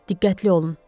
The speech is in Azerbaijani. Diqqətli olun.